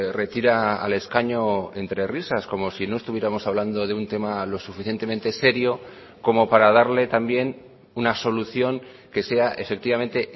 retira al escaño entre risas como si no estuviéramos hablando de un tema lo suficientemente serio como para darle también una solución que sea efectivamente